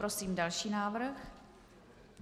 Prosím další návrh.